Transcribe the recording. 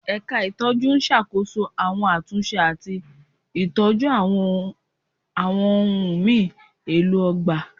Ẹ̀ka ìtọ́jú n ṣàkóso àwọn àtúnṣe àti ìtọ́jú àwọn ohùn mi èlò ọgbà